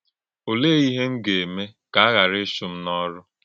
Ọ̀lèé íhè m gà-ème kà a ghàrà íchụ̀ m n’ọ́rụ́?